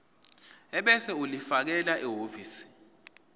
ebese ulifakela ehhovisi